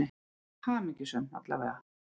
Hamingjusöm, alla vega.